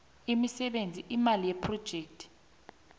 imisebenzi imali yephrojekhthi